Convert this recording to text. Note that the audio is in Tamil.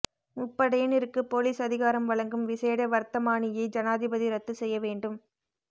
முப்படையினருக்கு பொலிஸ் அதிகாரம் வழங்கும் விசேட வர்த்தமானியை ஜனாதிபதி ரத்து செய்ய வேண்டும்